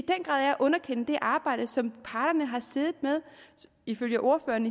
grad er at underkende det arbejde som parterne ifølge ordføreren